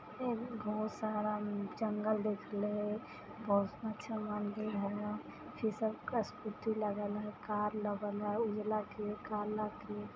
बहुत सारा जंगल देखले बहुत अच्छा लागले कार लगल है